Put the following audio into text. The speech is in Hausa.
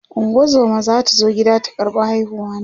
ungozuma zata zo gida ta ƙarɓa haihuwa na